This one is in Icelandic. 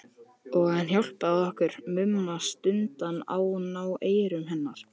Og hann hjálpaði okkur Mumma stundum að ná eyrum hennar.